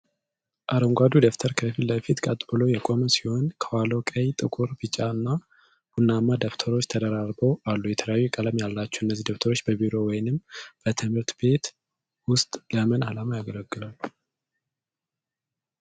አረንጓዴው ደብተር ከፊት ለፊት ቀጥ ብሎ የቆመ ሲሆን፣ ከኋላው ቀይ፣ ጥቁር፣ ቢጫ እና ቡናማ ደብተሮች ተደራርበው አሉ። የተለያየ ቀለም ያላቸው እነዚህ ደብተሮች በቢሮ ወይም በትምህርት ቤት ውስጥ ለምን ዓላማ ያገለግላሉ?